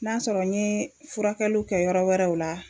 N'a sɔrɔ n ye furakɛliw kɛ yɔrɔ wɛrɛw la.